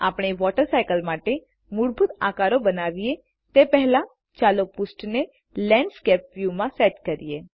આપણે water cycle માટે મૂળભૂત આકારો બનાવીએ તે પહેલાચાલો પૃષ્ઠને લેન્ડસ્કેપ વ્યુમાં સેટ કરીએ